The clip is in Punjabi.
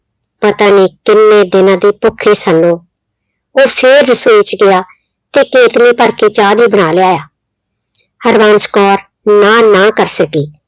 ਪਤਾ ਨੀ ਕਿੰਨੇ ਦਿਨਾਂ ਤੋਂ ਭੁੱਖੇ ਸਨ। ਉਹ ਫਿਰ ਰਸੋਈ ਚ ਗਿਆ ਤੇ ਕੇਤਲੀ ਭਰ ਕੇ ਚਾਹ ਦਾ ਬਣਾ ਲਿਆ। ਹਰਬੰਸ ਕੌਰ ਨਾਂਹ ਨਾ ਕਰ ਸਕੀ।